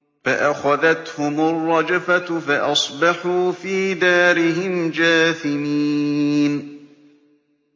فَأَخَذَتْهُمُ الرَّجْفَةُ فَأَصْبَحُوا فِي دَارِهِمْ جَاثِمِينَ